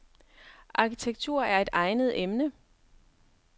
Arkitektur er et egnet emne.